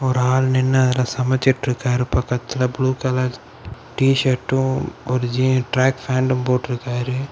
ஒரு ஆளு நிண்ணு அதுல சமைச்சிட்டுருக்காரு பக்கத்துல புளு கலர் டி ஷர்ட்டும் ஒரு ஜி ட்ராக் ஃபேண்ட்டும் போட்றுக்காரு.